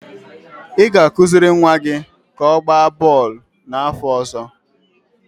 ị ga-akụziri nwa gị ka ọ gbaa bọọlụ n'afọ ọzọ